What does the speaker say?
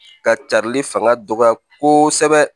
Ka cari fanga dɔgɔya kosɛbɛ